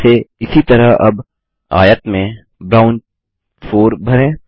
फिरसे इसी तरह अब आयत में ब्राउन 4 भरें